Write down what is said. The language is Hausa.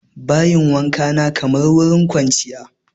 Bayin wankan kamar wurin kwanciya